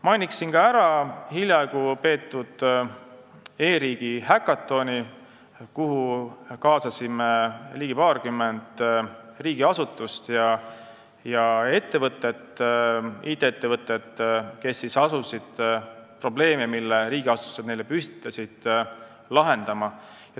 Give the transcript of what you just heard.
Mainiksin veel ära hiljaaegu peetud e-riigi häkatoni, kuhu kaasasime ligi paarkümmend asutust ja IT-ettevõtet, kes asusid lahendama probleemi, mille riigiasutused neile püstitasid.